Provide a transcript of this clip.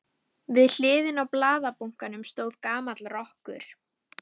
Við hliðina á blaðabunkanum stóð gamall rokkur.